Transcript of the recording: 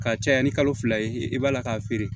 Ka caya ni kalo fila ye i b'a la k'a feere